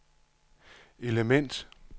element